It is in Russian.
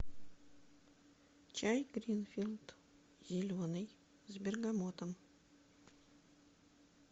чай гринфилд зеленый с бергамотом